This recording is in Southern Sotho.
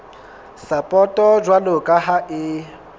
sapoto jwalo ka ha e